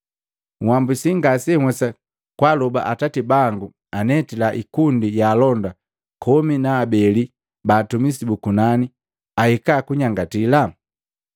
Uhambusi ngasenhwesa kwaaloba Atati bangu anetila hikundi ya alonda komi na abele ba atumisi bu kunani ahika kunyangatila?